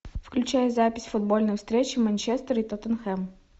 включай запись футбольной встречи манчестер и тоттенхэм